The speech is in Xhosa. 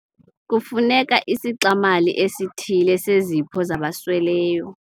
Kufuneka isixa-mali esithile sezipho zabasweleyo.